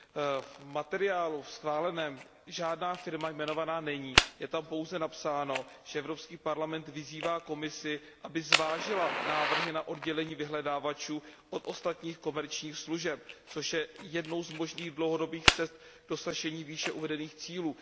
Ve schváleném materiálu žádná firma jmenována není, je tam pouze napsáno, že Evropský parlament vyzývá Komisi, aby zvážila návrhy na oddělení vyhledávačů od ostatních komerčních služeb, což je jednou z možných dlouhodobých cest k dosažení výše uvedených cílů.